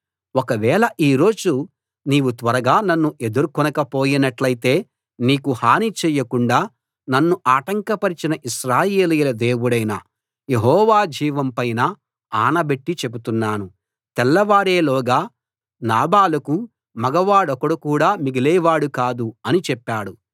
ఒకవేళ ఈ రోజు నీవు త్వరగా నన్ను ఎదుర్కొనక పోయినట్టయితే నీకు హాని చేయకుండా నన్ను ఆటంకపరచిన ఇశ్రాయేలీయుల దేవుడైన యెహోవా జీవం పైన ఆన బెట్టి చెబుతున్నాను తెల్లవారేలోగా నాబాలుకు మగవాడొకడు కూడా మిగిలేవాడు కాదు అని చెప్పాడు